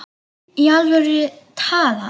Í alvöru talað.